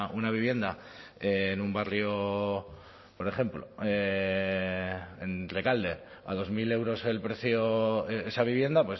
una vivienda en un barrio por ejemplo en rekalde a dos mil euros el precio esa vivienda